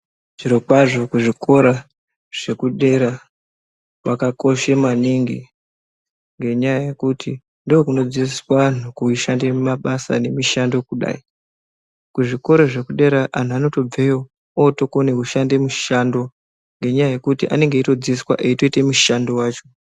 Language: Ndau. Zvirokwazvo kuzvikora zvekudera kwakakoshe maningi ngenyaya yekuti ndookunodzidziswa anhu kushande mumabasa nemishando kudai. Kuzvikora zvekudera anhu anotobveyo ootokona kushande mishando ngenyaya yekuti anee eitodzidziswa eitoita mushando wacho.